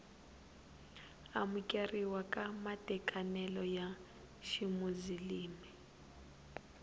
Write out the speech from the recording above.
amukeriwa ka matekanelo ya ximuzilimi